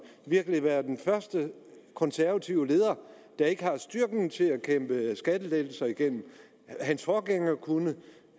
virkelig skulle være den første konservative leder der ikke har styrken til at kæmpe skattelettelser igennem hans forgænger kunne og